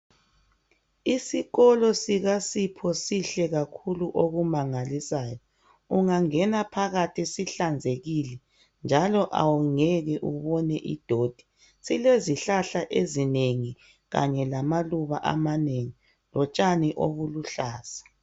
Isikolo sika sipho sihle kakhulu okumangalisayo ungangena phakathi sihlanzekile njalo awungeke ubone idoti silezihlahla ezinengi kanye lamaluba amanengi lotshani obuluhlaza